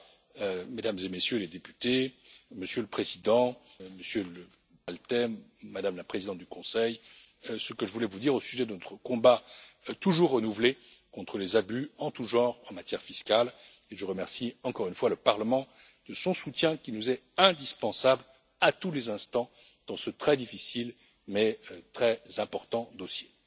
Voilà, Mesdames et Messieurs les députés, Monsieur le Président, Monsieur le Premier Ministre, Madame la Présidente du Conseil, ce que je voulais vous dire au sujet de notre combat toujours renouvelé contre les abus en tous genres en matière fiscale. Je remercie encore une fois le Parlement de son soutien qui nous est indispensable à tous les instants dans ce très difficile, mais très important dossier.